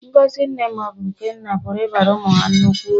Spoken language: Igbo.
Ngọzi nne ma ọ bụ nna pụrụ ịbara ụmụ ha nnukwu uru.